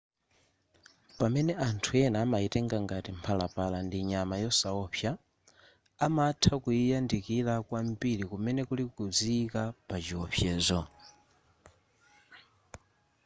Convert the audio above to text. pamene anthu amayitenga ngati mphalapala ndi nyama yosaopsa amatha kuyiyandikira kwambiri kumene kuli kuziyika pa chiopsezo